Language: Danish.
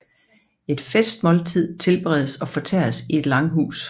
Et festmåltid tilberedes og fortæres i et langhus